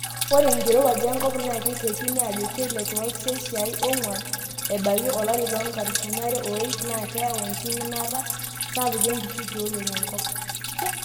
Ore enkirowuaj enkop naa keitekini ajo keilep tooselshia ongwan ebaiki olari loonkalifuni are o iip naa keyau enkiminata sapuk enkishui tioriong enkop.